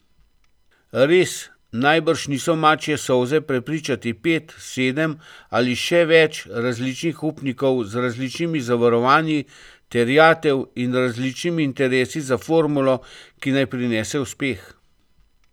Res, najbrž niso mačje solze prepričati pet, sedem ali še več različnih upnikov z različnimi zavarovanji terjatev in različnimi interesi za formulo, ki naj prinese uspeh.